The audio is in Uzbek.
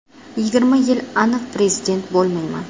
Yigirma yil aniq prezident bo‘lmayman.